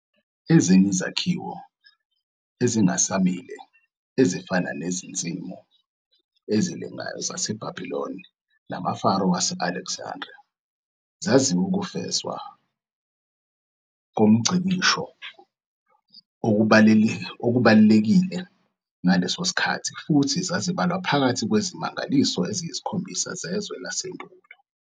Izinye izakhiwo, ezingasmile, ezifana neziNsimu ezilengayo zaseBhabhiloni namaFaro wase-Alexandriya, zaziwukufezwa komngcikisho okubalulekile ngaleso sikhathi futhi zazibalwa phakathi kweziMangaliso eziyisiKhombisa zeZwe laseNdulo.